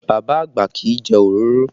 Bàbá àgbà kì í jẹ òróró